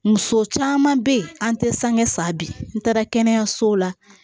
Muso caman bɛ yen an tɛ sange sa bi n taara kɛnɛyasow la